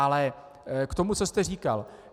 Ale k tomu, co jste říkal.